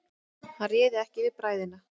Hann réð ekki við bræðina.